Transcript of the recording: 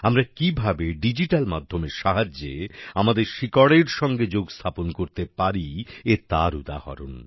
আমরা কিভাবে ডিজিটাল মাধ্যমের সাহায্যে আমাদের শিকড়ের সঙ্গে যোগস্থাপন করতে পারি এ তার উদাহরণ